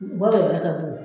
U ka wɛrɛ ka bon